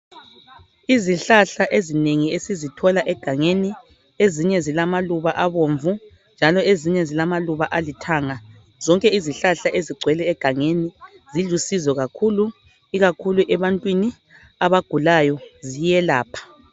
Izihlahla ezinengi esizithola egangeni ezinye zilamaluba abomvu njalo ezinye zilamaluba alithanga zonke izihlahla ezigcwele agangeni zilusizo kakhulu ikakhulu ebantwini abagulayo ziyelapha.